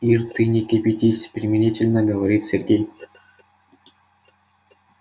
ир ты не кипятись примирительно говорит сергей